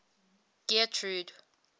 getrude